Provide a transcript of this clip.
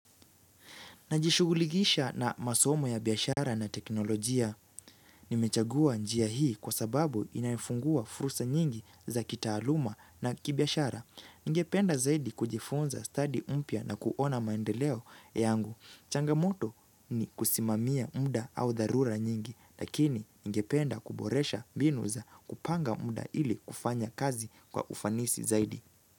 Najishughuligisha na masomo ya biashara na teknolojia. Nimechagua njia hii kwa sababu inafungua fursa nyingi za kitaaluma na kibiashara. Ningependa zaidi kujifunza stadi mpya na kuona maendeleo yangu. Changamoto ni kusimamia muda au dharura nyingi, lakini ningependa kuboresha mbinu za kupanga muda ili kufanya kazi kwa ufanisi zaidi.